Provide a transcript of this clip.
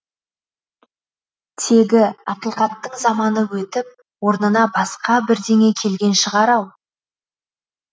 тегі ақиқаттың заманы өтіп орнына басқа бірдеңе келген шығар ау